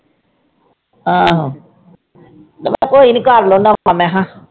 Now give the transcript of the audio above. ਆਹੋ ਕੋਈ ਨੀ ਕਰ ਲੈਂਦਾ ਵਾਂ ਮੈਂ ਕਿਹਾ।